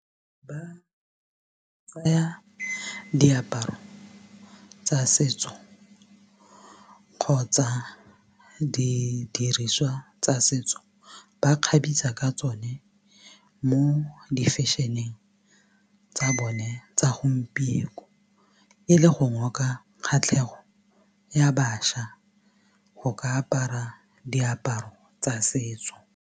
Ba tsaya diaparo tsa setso kgotsa didiriswa tsa setso ba kgabisa ka tsone mo di-fashion-eng tsa bone tsa gompieko e le go ngoka kgatlhego ya baša go ka apara diaparo tsa setso.